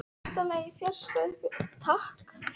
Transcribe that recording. Mesta lagi í fjarska uppi í ræðustól.